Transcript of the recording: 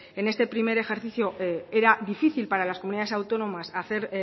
en este primer ejercicio era difícil para las comunidades autónomas hacer